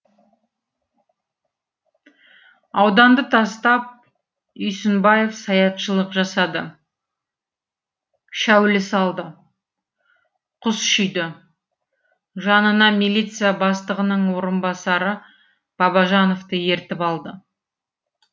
ауданды тастап үйсінбаев саятшылық жасады шәулі салды құс шүйді жанына милиция бастығының орынбасары бабажановты ертіп алды